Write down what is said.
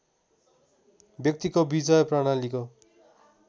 व्यक्तिको विजय प्रणालीको